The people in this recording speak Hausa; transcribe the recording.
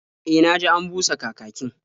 E, na ji an busa kakakin.